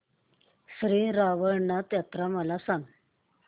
श्री रवळनाथ यात्रा मला सांग